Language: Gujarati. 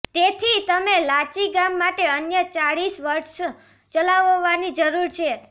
તેથી તમે લાચી ગામ માટે અન્ય ચાળીસ વર્સ્ટ્સ ચલાવવાની જરૂર છે